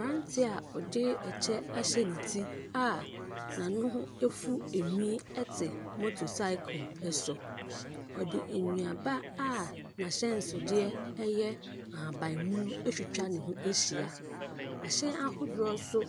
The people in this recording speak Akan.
Aberanteɛ a wɔde ɛkyɛ ahyɛ ne ti a n'ano ho afu enwii ɛte moto saekel ɛso. Ɔde nnuaba a n'ahyɛnsodeɛ ɛyɛ ahaban mono atwitwa ne ho ahyia. Ahyɛn ahodoɔ so